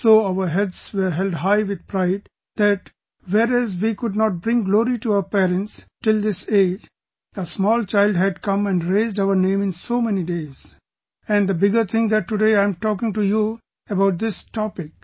So our heads were held high with pride that whereas we could not bring glory to our parents till this age, a small child had come and raised our name in so many days...and the bigger thing that today I am talking to you about this topic